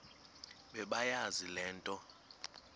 bebeyazi le nto